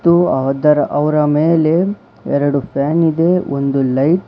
ಮತ್ತು ಅದರ ಅವರ ಮೇಲೆ ಎರಡು ಫ್ಯಾನ್ ಇದೆ ಒಂದು ಲೈಟ್ --